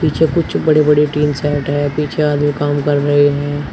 कुछ बड़े बड़े टीन सेट है पीछे आदमी काम कर रहे हैं।